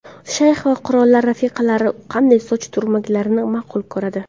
Shayx va qirollar rafiqalari qanday soch turmaklarini ma’qul ko‘radi?